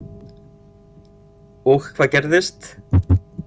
Og hvað gerðist?